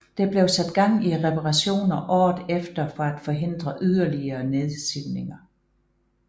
Der blev sat gang i reparationer året efter for at forhindre yderligere nedsivninger